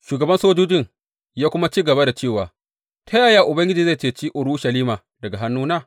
Shugaban sojojin ya kuma ci gaba da cewa, ta yaya Ubangiji zai ceci Urushalima daga hannuna?